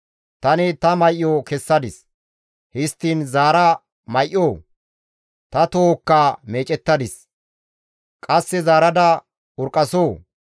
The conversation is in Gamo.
Tani ta may7o kessadis; histtiin zaara may7oo? Ta tohokka meecettadis; qasse zaarada urqqasoo?